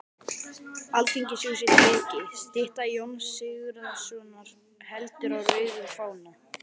Alþingishúsið tekið, stytta Jóns Sigurðssonar heldur á rauðum fána